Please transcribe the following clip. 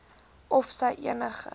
of sy enige